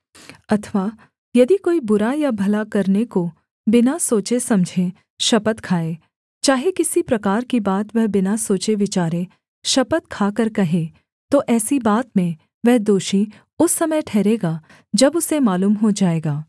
अथवा यदि कोई बुरा या भला करने को बिना सोचे समझे शपथ खाए चाहे किसी प्रकार की बात वह बिना सोचेविचारे शपथ खाकर कहे तो ऐसी बात में वह दोषी उस समय ठहरेगा जब उसे मालूम हो जाएगा